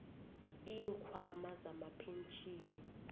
iinkhwama zamapentjhini